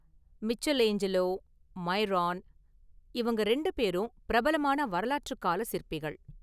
Michelangelo, Myron இவங்க இரண்டு பேரும் பிரபலமான​ வரலாற்றுகால சிற்பிகள்.